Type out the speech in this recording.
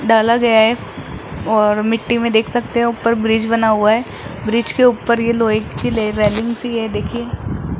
डाला गया है और मिट्टी में देख सकते हो ऊपर ब्रिज बना हुआ है ब्रिज के ऊपर ये लोहे की ले रेलिंग सी है देखिए।